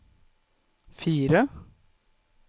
fire